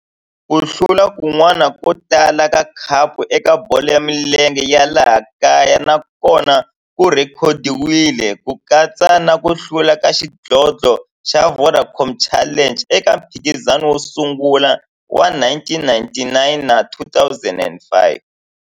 Ku hlula kun'wana ko tala ka khapu eka bolo ya milenge ya laha kaya na kona ku rhekhodiwile, ku katsa na ku hlula ka xidlodlo xa Vodacom Challenge eka mphikizano wo sungula wa 1999 na 2005.